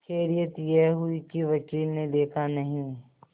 खैरियत यह हुई कि वकील ने देखा नहीं